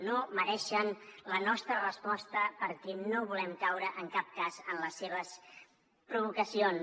no mereixen la nostra resposta perquè no volem caure en cap cas en les seves provocacions